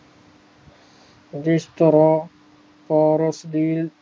ਜਿਸ ਤਰਾਂ ਪਾਰਸ ਦੀ